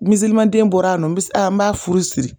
Mizilimanden bɔr'a nɔ n bi a n b'a furu siri